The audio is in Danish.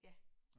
Ja